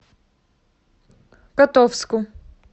котовску